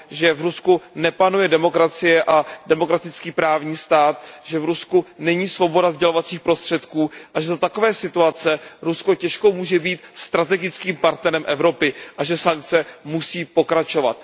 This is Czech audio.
Že v Rusku nepanuje demokracie a demokratický právní stát, že v Rusku není svoboda sdělovacích prostředků a že za takové situace Rusko těžko může být strategickým partnerem Evropy a že sankce musí pokračovat.